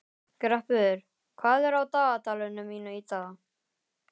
Greppur, hvað er á dagatalinu mínu í dag?